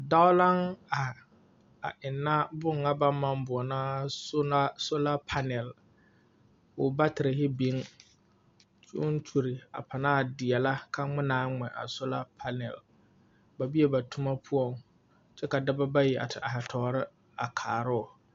Dao laŋ are, a ennԑ boŋe ŋa baŋ maŋ boͻnaa boͻnaa sola panele. Koo batere biŋ, koo kyuli a panaa deԑlԑ ka ŋmenaa ŋmԑ a sola panele. Ba bee ba toma poͻŋ kyԑ ka dͻba bayi a te are tͻͻre a karoo.